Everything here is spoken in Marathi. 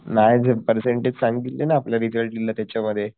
नाही रे पेरसेन्टेज दिले ना आपल्याला रिसल्ट दिला त्यांच्यावर